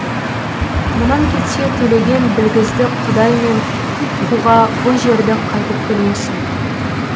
мұнан кетсе төлеген білгізді құдай мен қуға бұл жерді қайтып көрмесін